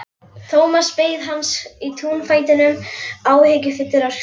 Thomas beið hans í túnfætinum, áhyggjufullur á svip.